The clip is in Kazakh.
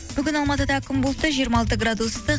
бүгін алматыда күн бұлтты жиырма алты градус ыстық